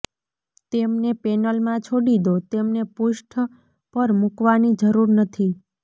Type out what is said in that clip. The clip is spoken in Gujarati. તેમને પેનલમાં છોડી દો તેમને પૃષ્ઠ પર મૂકવાની જરૂર નથી